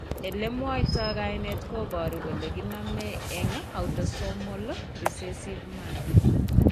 Elemwoitoo kainet kobuuru kole kinomee eng' autosomal recessive manner